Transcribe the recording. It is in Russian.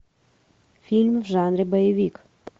фильм в жанре боевик